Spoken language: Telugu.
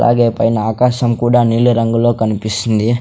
అలాగే పైన ఆకాశం కూడా నీలి రంగులో కనిపిస్తుంది.